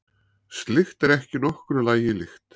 Slíkt er ekki nokkru lagi líkt